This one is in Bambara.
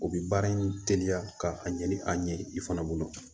O bi baara in teliya ka a ɲɛ ni a ɲɛ ye i fana bolo